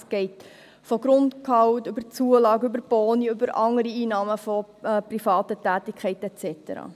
Es geht vom Grundgehalt über die Zulage, die Boni bis hin zu anderen Einnahmen aus privaten Tätigkeiten et cetera.